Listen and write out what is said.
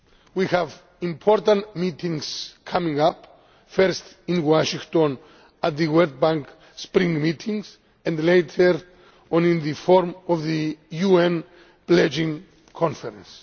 We have important meetings coming up, first in Washington at the World Bank spring meetings, and later on in the form of the UN pledging conference.